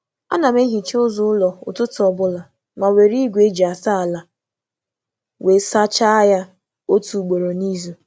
A na m hazie ụzọ ogologo um ụlọ kwa ụtụtụ, ma na-eji igwe um asa ya ugboro um otu n’izu.